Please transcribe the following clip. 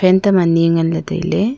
fan tam ani nganley tailey.